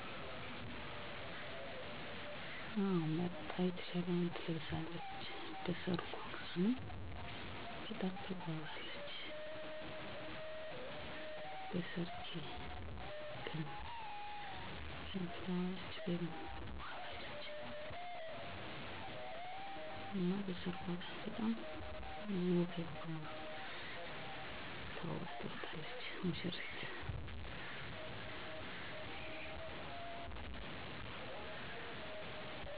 በሃገራችን የተለያዩ የሰርግ ዝግጅቶች ያሉ ሲሆን እኔ ተወልጀ ባደኩበት አካባቢ ሙሽራው ለሙሽሪት የሚሆን ጥሎሽ ወይም የተለያዩ አልባሳትን ይሰጣል። በሰርጉ ቀንም ከሙሽራው የተሰጠችውን ልብስ ውስጥ ጥበብ ወይም የጨርቅ ልብሰ የተሻለውን መርጣ ትለብሳለች። በቤተክርስቲያን የሚደረግ የጋብቻ አለባበስ ደግሞ ከባህላዊው አለባበስ የተለየ ሲሆን ሁለቱም ሙሽራዎች የካባ አልባሳትን በመልበስ እና ከራሳቸው ላይ የአክሊል ዘውድ በማድረግ የጋብቻ ስርአቱን ያከብራሉ።